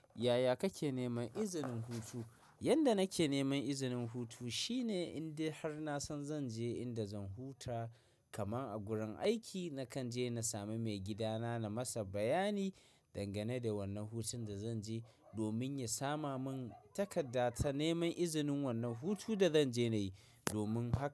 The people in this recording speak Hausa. Yaya kake neman izinin hutu? Yanda nake neman izinin hutu shine in dai har na san zan je inda zan huta kaman a gurin aiki, na kan je na sami maigidana na masa bayani dangane da wannan hutun da zan je domin ya sama mun takarda ta neman izinin wannan hutun da zanje nayi domin haka.